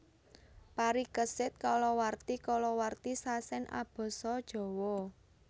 Parikesit kalawarti kalawarti sasèn abasa Jawa